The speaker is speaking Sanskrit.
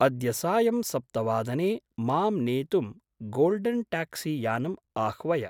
अद्य सायं सप्तवादने मां नेतुं गोल्डेन्‌ ट्याक्सीयानम् आह्वय।